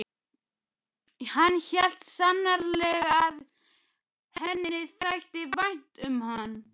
Hann hélt sannarlega að henni þætti vænt um hann.